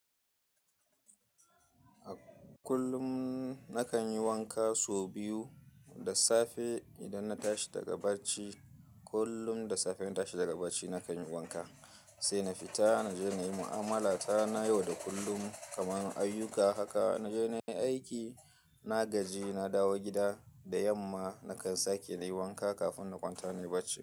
Kullum nakan yi wanka so biyu. Da safe idan na tashi daga bacci, kullum da safe ina tashi daga bacci nakan yi wanka, sai na fita na je na yi mu'amala ta na yau da kullum kamar ayyuka haka. Na je na yi aiki, na gaji, na dawo gida, da yamma nakan sake na yi wanka kafin na kwanta na yi bacci.